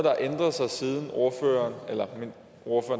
har ændret sig siden ordføreren